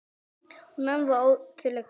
Hún amma var ótrúleg kona.